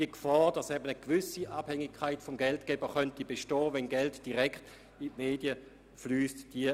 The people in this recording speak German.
» Es bestünde die Gefahr, dass eine gewisse Abhängigkeit vom Geldgeber bestehen könnte, wenn Geld direkt an die Medien fliessen würde.